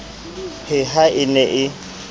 he ha e ne e